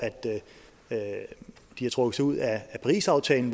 de har trukket sig ud af parisaftalen